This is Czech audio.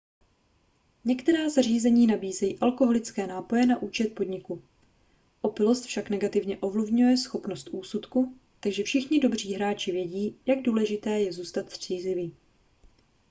některá zařízení nabízejí alkoholické nápoje na účet podniku opilost však negativně ovlivňuje schopnost úsudku takže všichni dobří hráči vědí jak důležité je zůstat střízlivý